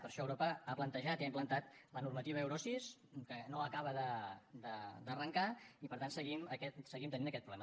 per això europa ha plantejat i ha implantat la normativa euro sis que no acaba d’arrancar i per tant seguim tenint aquest problema